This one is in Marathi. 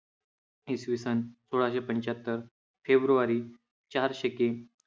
इसवीसन सोळाशे पंच्याहत्तर फेब्रुवारी चार शके